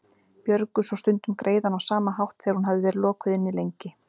Björgu svo stundum greiðann á sama hátt þegar hún hafði verið lokuð inni lengi.